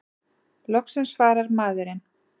Loksins svarar maðurinn!